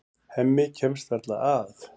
Hemmi kemst varla að.